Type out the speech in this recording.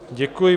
Děkuji.